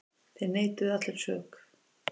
Þeir neituðu allir sök.